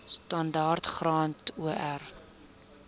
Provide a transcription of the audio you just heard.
standaard graad or